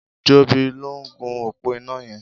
Jobi ló n gún ópó iná yẹn